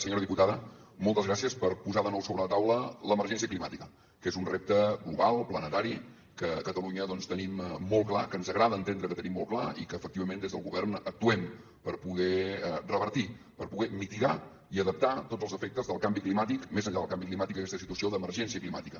senyora diputada moltes gràcies per posar de nou sobre la taula l’emergència climàtica que ens un repte global planetari que a catalunya tenim molt clar que ens agrada entendre que tenim molt clar i que efectivament des del govern actuem per poder revertir per poder mitigar i adaptar tots els efectes del canvi climàtic més enllà del canvi climàtic d’aquesta situació d’emergència climàtica